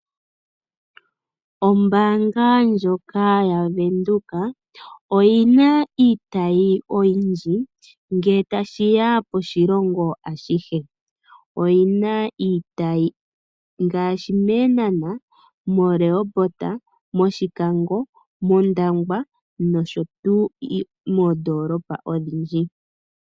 Ombaanga ndjoka ya Venduka oyina iitayi oyindji ngele tashiya koshilongo ashihe. Oyina iitayi mEehnahna ,mo Rehoboth, mOshikango, mOndangwa nosho tuu moondoolopa odhindji.